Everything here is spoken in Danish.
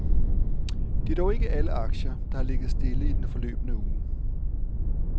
Det er dog ikke alle aktier, der har ligget stille i den forløbne uge.